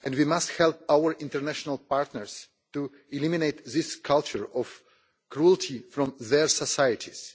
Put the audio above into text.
We must help our international partners to eliminate this culture of cruelty from their societies.